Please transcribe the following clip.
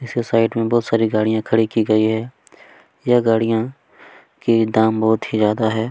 पीछे साइड में बहुत सारी गाड़ियां भी खड़ी गई है यह गाड़ियां के दाम बहुत ही ज्यादा है।